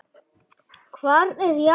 Hvar er Jakob?